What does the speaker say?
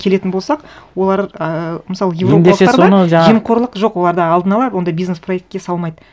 келетін болсақ олар ы мысалы еуропалықтарда жемқорлық жоқ оларда алдын ала ондай бизнес проектке салмайды